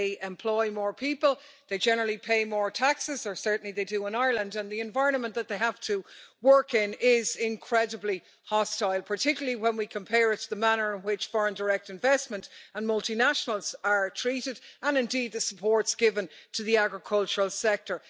They employ more people, they generally pay more taxes or certainly they do in Ireland and the environment that they have to work in is incredibly hostile, particularly when we compare it to the manner in which foreign direct investment and multinationals are treated, and indeed the supports given to the agricultural sector.